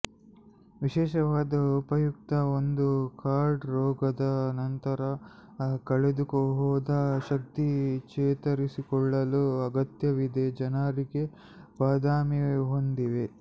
ವಿಶೇಷವಾಗಿ ಉಪಯುಕ್ತ ಒಂದು ಹಾರ್ಡ್ ರೋಗದ ನಂತರ ಕಳೆದುಹೋದ ಶಕ್ತಿ ಚೇತರಿಸಿಕೊಳ್ಳಲು ಅಗತ್ಯವಿದೆ ಜನರಿಗೆ ಬಾದಾಮಿ ಹೊಂದಿವೆ